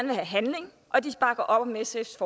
vil have handling og de bakker op om sfs